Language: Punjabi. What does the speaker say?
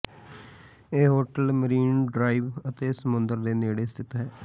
ਇਹ ਹੋਟਲ ਮਰੀਨ ਡਰਾਈਵ ਅਤੇ ਸਮੁੰਦਰ ਦੇ ਨੇੜੇ ਸਥਿਤ ਹੈ